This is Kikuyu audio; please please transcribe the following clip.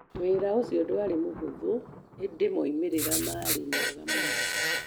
Wĩra ũcio ndwarĩ mũhũthũ, ĩndĩ moimĩrĩro maarĩ mega mũno.